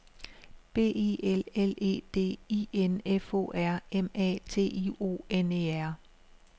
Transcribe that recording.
B I L L E D I N F O R M A T I O N E R